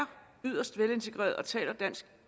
yderst velintegreret og taler